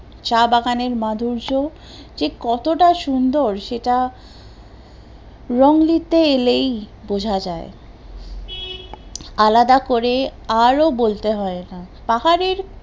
চা বাগান এর মাধুর্য যে কতটা সুন্দর সেটা এলেই বোঝা যায়, আলাদা করে আরো বলতে হয়, পাহাড়ের